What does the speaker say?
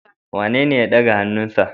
Wanene ya daga hannunsa?